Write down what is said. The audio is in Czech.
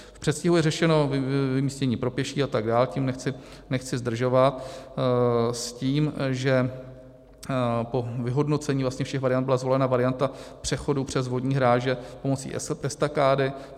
V předstihu je řešeno vymístění pro pěší atd., tím nechci zdržovat, s tím, že po vyhodnocení vlastně všech variant byla zvolena varianta přechodu přes vodní hráze pomocí estakády.